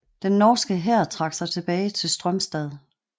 Den norske hær trak sig tilbage til Strömstad